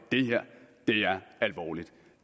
det her er alvorligt